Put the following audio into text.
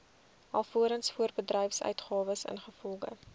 alvorens voorbedryfsuitgawes ingevolge